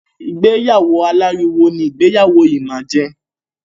Ìgbéyàwó aláriwo ni ìgbéyàwó yìí máa jẹ.